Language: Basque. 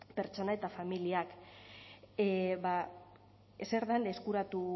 pertsona eta familiak zer dan eskuratu